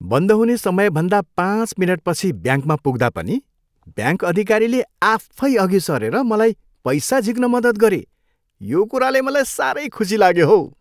बन्द हुने समयभन्दा पाँच मिनेटपछि ब्याङ्कमा पुग्दा पनि ब्याङ्क अधिकारीले आफै अघि सरेर मलाई पैसा झिक्न मद्दत गरे, यो कुराले मलाई सारै खुसी लाग्यो हौ।